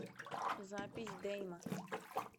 запись дейма